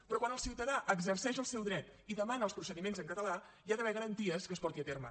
però quan el ciutadà exerceix el seu dret i demana els procediments en català hi ha d’haver garanties que es porti a terme